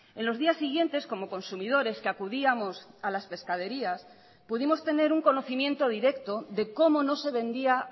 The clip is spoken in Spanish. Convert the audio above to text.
en los días siguientes como consumidores que acudíamos a las pescaderías pudimos tener un conocimiento directo de cómo no se vendía